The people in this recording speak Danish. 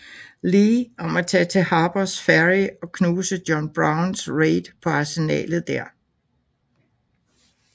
Lee om at tage til Harpers Ferry og knuse John Browns raid på arsenalet der